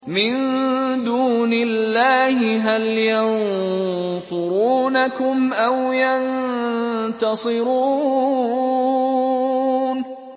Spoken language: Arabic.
مِن دُونِ اللَّهِ هَلْ يَنصُرُونَكُمْ أَوْ يَنتَصِرُونَ